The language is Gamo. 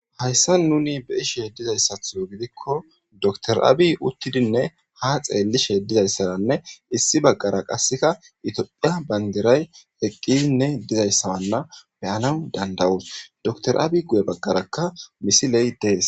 hayssa nuni be ishe dizayssatho gidikko doktor abi uttidinne ha xeellishe dizayssaranne issi baggara qasseka itophiya bandiray eqqidinne dizayssawanna beyanan dandawuus dotr abi guye baggarakka misiley dees